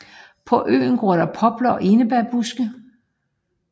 På øen gror der popler og enebærbuske